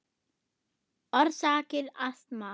Orsakir astma